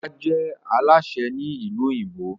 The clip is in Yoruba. Ola je Alásè Ni ilu òyìnbó.